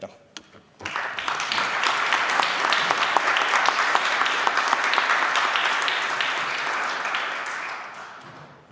Aitäh!